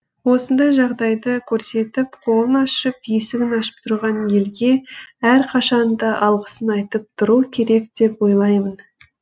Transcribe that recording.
осындай жағдайды көрсетіп қолын ашып есігін ашып тұрған елге әрқашан да алғысын айтып тұру керек деп ойлаймын